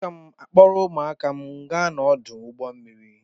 Aga m a-akpọrọ ụmụaka m gaa n'ọdụ ụgbọ mmiri.